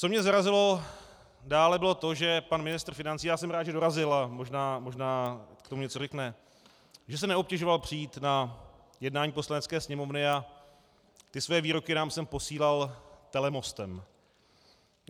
Co mě zarazilo dále, bylo to, že pan ministr financí - já jsem rád, že dorazil, a možná k tomu něco řekne - že se neobtěžoval přijít na jednání Poslanecké sněmovny a ty své výroky nám sem posílal telemostem.